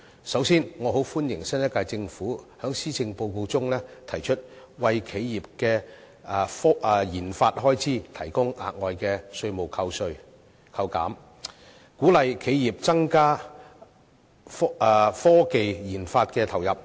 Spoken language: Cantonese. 首先，我很歡迎新一屆政府在施政報告中提出為企業的研發開支提供額外的稅務扣減，鼓勵企業增加科技研發的投入。